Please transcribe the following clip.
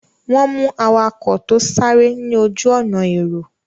Wọ́n mú awakọ̀ tó sáré ní ojú-ọ̀nà èrò.